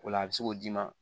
O la a bɛ se k'o d'i ma